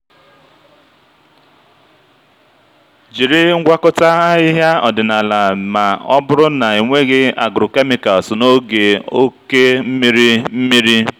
jiri ngwakọta ahịhịa ọdịnala ma ọ bụrụ na enweghị agrochemicals n'oge oke mmiri mmiri.